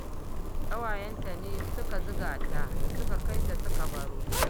Ƙawayenta ne suka zuga ta suka kai ta suka baro